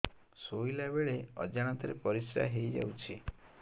ଶୋଇଲା ବେଳେ ଅଜାଣତ ରେ ପରିସ୍ରା ହେଇଯାଉଛି